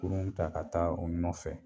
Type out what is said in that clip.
Kurun ta ka taa u nɔfɛ